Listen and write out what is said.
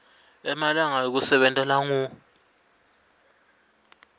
emalanga ekusebenta langu